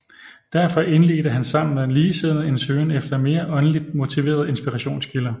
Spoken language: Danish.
Derfor indledte han sammen med ligesindede en søgen efter mere åndeligt motiverede inspirationskilder